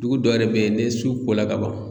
Dugu dɔ yɛrɛ bɛ yen ni su ko la kaban.